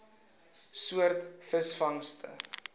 soort visvangste